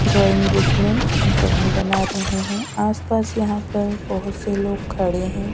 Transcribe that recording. Drawing book में drawing बना रहे हैं आसपास यहां पर बहोत से लोग खड़े हैं।